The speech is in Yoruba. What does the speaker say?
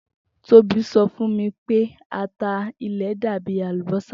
Tobi so fun mi pe ata ilẹ dabi alubosa.